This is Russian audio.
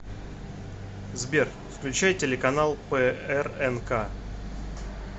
сбер включай телеканал прнк